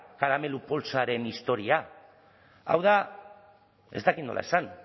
karamelu poltsaren historia hau da ez dakit nola esan